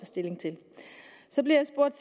stilling til så blev jeg spurgt